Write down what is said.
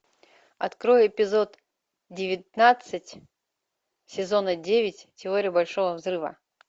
открой эпизод девятнадцать сезона девять теория большого взрыва